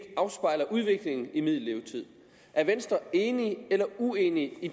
afspejler udviklingen i middellevetid er venstre enig eller uenig i